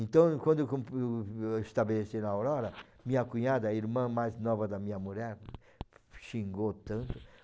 Então, quando eu compo eu estabeleci na Aurora, minha cunhada, a irmã mais nova da minha mulher, xingou tanto.